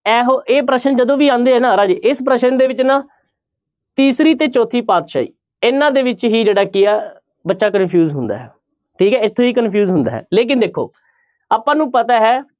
ਇਹੋ ਇਹ ਪ੍ਰਸ਼ਨ ਜਦੋਂ ਵੀ ਆਉਂਦੇ ਹੈ ਨਾ ਰਾਜੇ ਇਸ ਪ੍ਰਸ਼ਨ ਦੇ ਵਿੱਚ ਨਾ ਤੀਸਰੀ ਤੇ ਚੌਥੀ ਪਾਤਿਸ਼ਾਹੀ ਇਹਨਾਂ ਦੇ ਵਿੱਚ ਹੀ ਜਿਹੜਾ ਕੀ ਆ ਬੱਚਾ confuse ਹੁੰਦਾ ਹੈ ਠੀਕ ਹੈ ਇੱਥੇ ਹੀ confuse ਹੁੰਦਾ ਹੈ ਲੇਕਿੰਨ ਦੇਖੋ ਆਪਾਂ ਨੂੰ ਪਤਾ ਹੈ